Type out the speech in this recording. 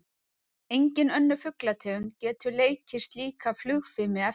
Engin önnur fuglategund getur leikið slíka flugfimi eftir.